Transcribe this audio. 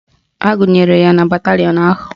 Agụnyere ya na batalịọn ahụ